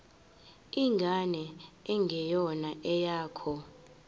ingane engeyona eyakho